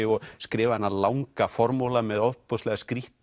og skrifa þennan langa formála með ofboðslega skrýtinni